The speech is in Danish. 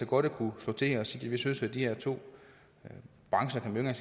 burde kunne slå til og sige at vi synes at de her to brancher kan man